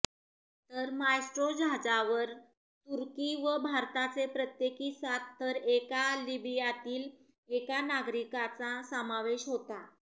तर मायस्ट्रो जहाजावर तुर्की व भारताचे प्रत्येकी सात तर एका लिबियातील एका नागरिकाचा समावेश होता